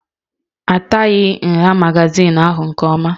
Ahataghị nha magazin ahụ nke ọma